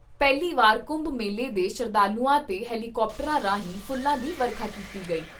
ਪਹਿਲੀ ਵਾਰ ਕੁੰਭ ਮੇਲੇ ਦੇ ਸ਼ਰਧਾਲੂਆਂ ਤੇ ਹੈਲੀਕਾਪਟਰਾਂ ਰਾਹੀਂ ਫੁੱਲਾਂ ਦੀ ਵਰਖਾ ਕੀਤੀ ਗਈ।